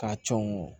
K'a cɔn